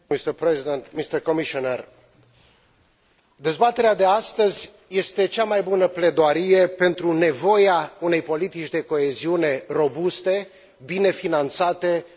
Dezbaterea de astăzi este cea mai bună pledoarie pentru nevoia unei politici de coeziune robuste, bine finanțate în viitorul cadru financiar.